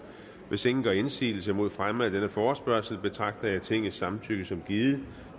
hvis ingen gør indsigelse mod fremme af denne forespørgsel betragter jeg tingets samtykket som givet